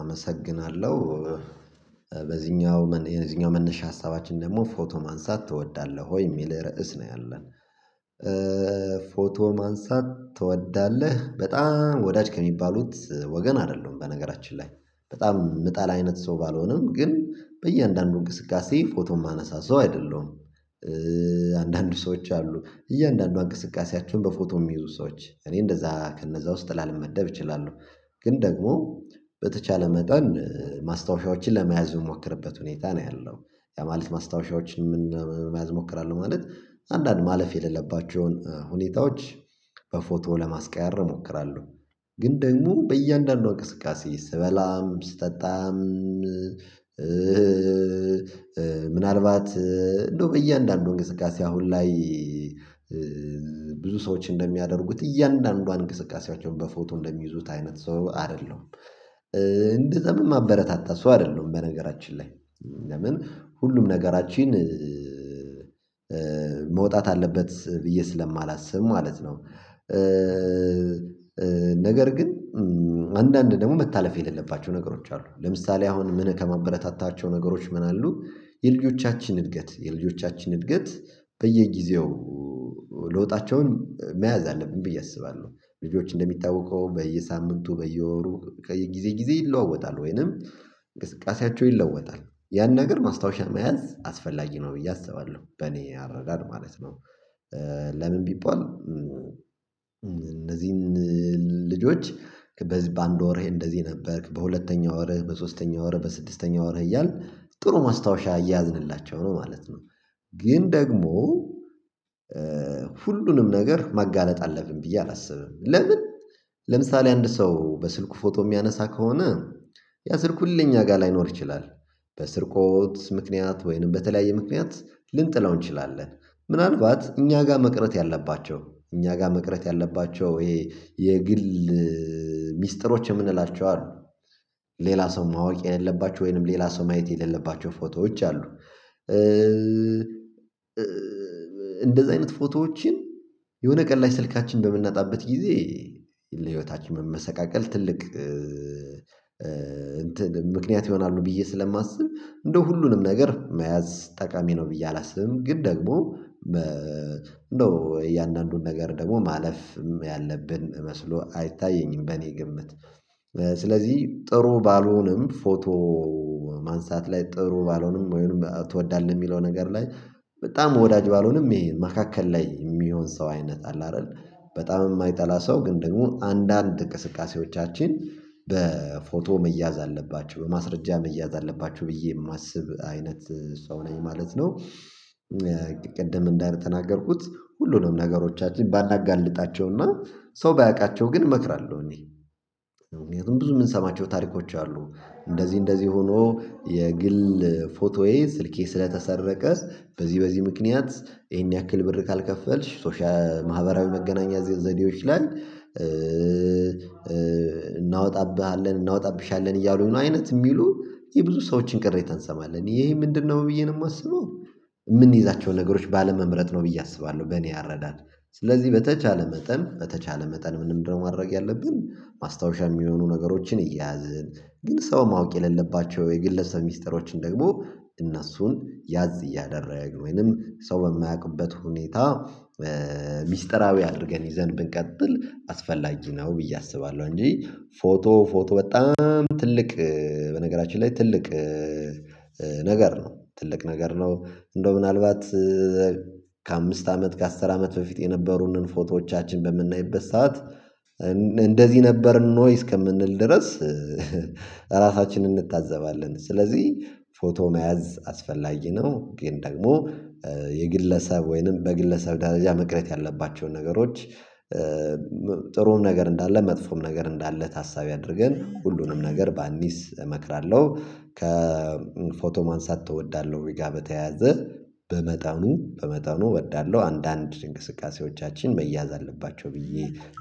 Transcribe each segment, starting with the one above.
አመሰግናለሁ በዚህኛው የዚህኛው መነሻ ሀሳባችን ደግሞ ፎቶ ማንሳት ትወዳለህ ወይ የሚል ርዕስ ነው ያለን? ፎቶ ማንሳት ትወዳለህ በጣም ወዳጅ ከሚባሉት ወገን አይደሉም በነገራችን ላይ በጣም ምጣላ አይነት ሰው ባልሆነም ግን በእያንዳንዱ እንቅስቃሴ ፎቶ የማነሳ ሰው አይደለሁም። አንዳንዱ ሰዎች አሉ እያንዳንዱ እንቅስቃሴያቸውን በፎቶ የሚይዙ ሰዎች እኔ እንደዛ ከነዛ ውስጥ ላለመደብ እችላለሁ። ግን ደግሞ በተቻለ መጠን ማስታወሻዎችን ለመያዝ የምንሞክርበት ሁኔታ ነው ያለው። ማለት ማስታወሻዎችን መያዝ እሞክራለሁ ማለት አንዳንድ ማለፍ የሌለባቸው የሆኑ ሁኔታዎች። በፎቶ ለማስቀያር እሞክራለሁ። ግን ደግሞ በእያንዳንዱ እንቅስቃሴ ስበላም ስጠጣም ምናልባት እንደው በእያንዳንዱ እንቅስቃሴ አሁን ላይ ብዙ ሰዎች እንደሚያደርጉት እያንዳንዱ እንቅስቃሴያቸውን በፎቶ እንደሚይዙት አይነት ሰው አይደለም። እንደዛም የማበረታታ ሰው አይደለም። በነገራችን ላይ ለምን ሁሉም ነገራችን መውጣት አለበት ብዬ ስለማላስብ ማለት ነው። ነገር ግን አንዳንድ ደግሞ መታለፍ የሌለባቸው ነገሮች አሉ ለምሳሌ አሁን ምን ከማበረታታቸው ነገሮች ምን አሉ? የልጆቻችን እድገት የልጆቻችን እድገት በየጊዜው ለወጣቸውን መያዝ አለብን ብዬ አስባለሁ። ልጆች እንደሚጠበቀው በየሳምንቱ በየወሩ ከየጊዜ ጊዜ ይለዋወጣል ወይንም እንቅስቃሴያቸው ይለዋወጣል ያን ነገር ማስታወሻ መያዝ አስፈላጊ ነው ብዬ አስባለሁ በእኔ አረዳድ ማለት ነው። ለምን ቢባል እነዚህን ልጆች በዚህ በአንድ ወርህ እንደዚህ ነበርክ በሁለተኛው ወርህ በሶስተኛው ወርህ በስድስተኛው ወርህ እያልን ጥሩ ማስታወሻ እያዝንላቸው ነው ማለት ነው። ግን ደግሞ ሁሉንም ነገር ማጋለጥ አለብን ብዬ አላስብም። ለምን ለምሳሌ አንድ ሰው በስልኩ ፎቶ የሚያነሳ ከሆነ ያ ስልክ ሁሌ እኛ ጋር ላይኖር ይችላል። በስርቆት ምክንያት ወይንም በተለያየ ምክንያት ልንጥለው እንችላለን። ምናልባት እኛ ጋር መቅረት ያለባቸው እኛ ጋር መቅረት ያለባቸው ይሄ የግል የምንላቸው አሉ ሌላ ሰው ማወቅ የሌለባቸው ወይንም ሌላ ሰው ማየት የሌለባቸው ፎቶዎች አሉ። እንደዚህ አይነት ፎቶዎችን የሆነ ቀን ላይ ስልካችን በምንነጣበት ጊዜ ለህይወታችን መሰቃቀል ትልቅ እንትን ምክንያት ይሆናሉ ብዬ ስለማስብ እንደው ሁሉንም ነገር መያዝ ጠቃሚ ነው ብዬ አላስብም። ግን ደግሞ በ እንደው እያንዳንዱን ነገር ደግሞ ማለፍም ያለብን መስሎ አይታየኝም። በእኔ ግምት ስለዚህ ጥሩ ባልሆንም ፎቶ ማንሳት ላይ ጥሩ ባልሆንም ወይም ትወዳለህ የሚለው ነገር ላይ በጣም ወዳጅ ባልሆንም ይሄ መካከል ላይ የሚሆን ሰው አይነት አለ አይደል? በጣም የማይጠላ ሰው ግን ደግሞ አንዳንድ እንቅስቃሴዎቻችን በፎቶ መያዝ አለባቸው በማስረጃ መያዝ አለባችሁ ብዬ የማስብ አይነት ሰው ነኝ ማለት ነው። ቅድም እንዳልተናገርኩት ሁሉንም ነገሮቻችን ባላጋልጣቸውና ሰው ባያቃቸው ግን እመክራለሁ እኔ ምክንያቱም ብዙ የምንሰማቸው ታሪኮች አሉ። እንደዚህ እንደዚህ ሆኖ የግል ፎቶዬ ስልኬ ስለተሰረቀስ በዚህ በዚህ ምክንያት ይሄን ያክል ብር ካልከፈልሽ ሶሻል ማህበራዊ መገናኛ ዘዴዎች ላይ እናወጣብሃለን እናወጣብሻለን እያሉ ነው አይነት የሚሉ የብዙ ሰዎችን ቅሬታ እንሰማለን ይሄ ምንድነው ብዬ ነው የማስበው? የምንይዛቸው ነገሮች ባለመምረጥ ነው ብዬ አስባለሁ በእኔ ያረዳል። ስለዚህ በተቻለ መጠን በተቻለ መጠን ምንም ነው ማድረግ ያለብን ማስታወሻ የሚሆኑ ነገሮችን እየያዝን ግን ሰው ማወቅ የሌለባቸው የግለሰብ ሚስጥሮችን ደግሞ እነሱን ያዝ እያደረገ ወይንም ሰው በማያውቅበት ሁኔታ ሚስጥራዊ አድርገን ይዘን ብንቀጥል አስፈላጊ ነው ብዬ አስባለሁ። እንጂ ፎቶ ፎቶ በጣም ትልቅ በነገራችን ላይ ትልቅ ነገር ነው ትልቅ ነገር ነው። እንደው ምናልባት ከአምስት አመት ከአስር አመት በፊት የነበሩንን ፎቶዎቻችን በምናይበት ሰዓት እንደዚህ ነበርን ኖይ እስከምንል ድረስ። ራሳችንን እንታዘባለን ስለዚህ ፎቶ መያዝ አስፈላጊ ነው። ግን ደግሞ የግለሰብ ወይንም በግለሰብ ደረጃ መቅረት ያለባቸውን ነገሮች ጥሩውን ነገር እንዳለ መጥፎውም ነገር እንዳለ ታሳቢ አድርገን ሁሉንም ነገር ባኒስ እመክራለሁ። ከፎቶ ማንሳት እወዳለሁ ወይ ጋር በተያያዘ በመጠኑ በመጠኑ እወዳለሁ አንዳንድ እንቅስቃሴዎቻችን መያዝ አለባቸው ብዬ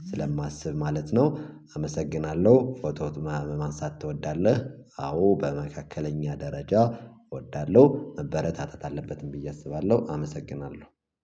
ስለማስብ ማለት ነው። አመሰግናለሁ ፎቶው ማንሳት ትወዳለህ? አዎ በመካከለኛ ደረጃ እወዳለሁ መበረታተት አለበትም ብዬ አስባለሁ አመሰግናለሁ።